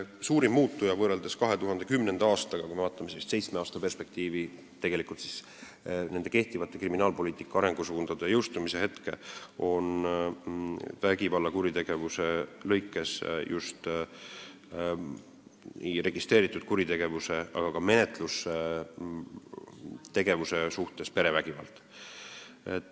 Suurim muutuja 2010. aastaga, seitsme aasta taguse ajaga võrreldes, kui kehtivad kriminaalpoliitika arengusuunad jõustusid, vägivallakuritegevuses ja üldse registreeritud kuritegevuses, aga ka menetlustegevuse mõttes on olnud perevägivald.